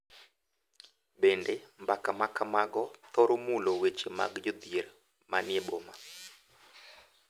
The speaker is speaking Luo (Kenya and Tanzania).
Bende, mbaka ma kamago thoro mulo weche mag jodhier ma ni e boma,